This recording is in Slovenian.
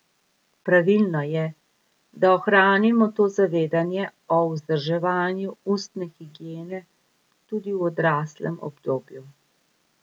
Pravilno je, da ohranimo to zavedanje o vzdrževanju ustne higiene tudi v odraslem obdobju.